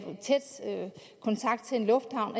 lufthavn